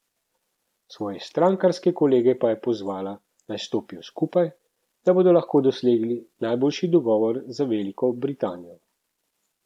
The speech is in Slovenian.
Svoje strankarske kolege pa je pozvala, naj stopijo skupaj, da bodo lahko dosegli najboljši dogovor za Veliko Britanijo.